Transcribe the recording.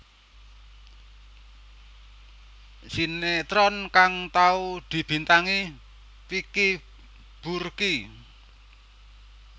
Sinétron kang tau dibintangi Vicky Burky